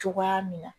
Cogoya min na